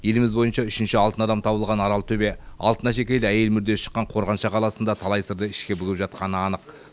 еліміз бойынша үшінші алтын адам табылған аралтөбе алтын әшекейлі әйел мүрдесі шыққан қорғанша қаласының да талай сырды ішіне бүгіп жатқаны анық